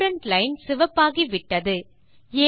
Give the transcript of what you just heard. student line சிவப்பாகி விட்டது